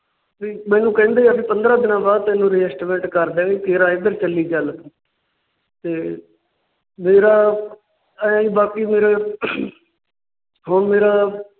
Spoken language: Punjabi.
ਮੈਨੂੰ ਕਹਿੰਦੇ ਆ ਵਹਿ ਪੰਦਰਾਂ ਦਿਨਾਂ ਬਾਅਦ ਤੈਨੂੰ Adjustment ਕਰ ਦਿਆਂਗੇ। ਤੇਰਾ ਇੱਧਰ ਚੱਲੀ ਚਲ ਤੇ ਮੇਰਾ ਇਹ ਹੀ ਬਾਕੀ ਫਿਰ ਹੁਣ ਮੇਰਾ